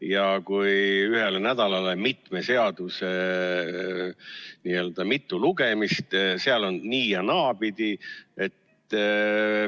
Ja kui ühele nädalale pannakse mitme seaduseelnõu mitu lugemist, siis see on nii- ja naapidi.